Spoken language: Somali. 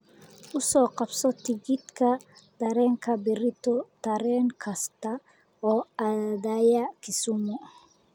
u qabso tigidhka tareenka berrito tareen kasta oo aadaya kisumu